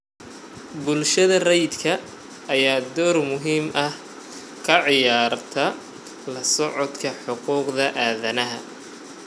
Bulshada rayidka ah ayaa door muhiim ah ka ciyaarta la socodka xuquuqda aadanaha.